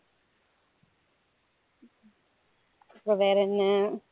அப்பறம் வேற என்ன